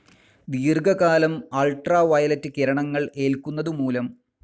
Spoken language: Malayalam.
ദീർഘ കാലം അൾട്രാവയലറ്റ്‌ കിരണങ്ങൾ ഏൽക്കുന്നതു മൂലം.